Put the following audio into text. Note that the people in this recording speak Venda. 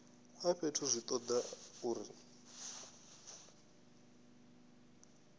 a fhethu zwi toda uri